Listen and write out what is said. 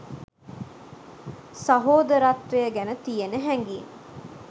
සහෝදරත්වය ගැන තියෙන හැඟීම්